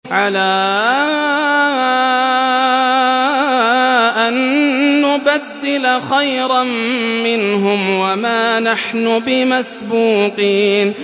عَلَىٰ أَن نُّبَدِّلَ خَيْرًا مِّنْهُمْ وَمَا نَحْنُ بِمَسْبُوقِينَ